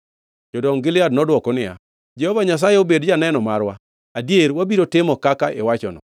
Jodong Gilead nodwoko niya, “Jehova Nyasaye obed janeno marwa; adier wabiro timo kaka iwachono.”